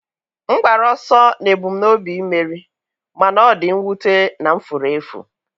m gbara ọsọ n'ebumnobi imeri, mana ọ dị mwute na m furu efu.